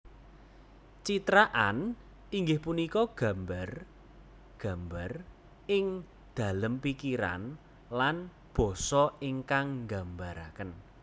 Citraan inggih punika gambar gambar ingdalem pikiran lan basa ingkang gambaraken